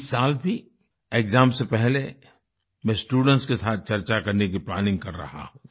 इस साल भी एक्साम्स से पहले मैं स्टूडेंट्स के साथ चर्चा करने की प्लानिंग कर रहा हूँ